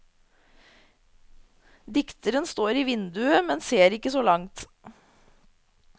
Dikteren står i vinduet, men ser ikke så langt.